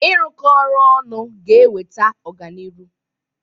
Ịrụkọ ọrụ ọnụ ga-eweta ọganiru.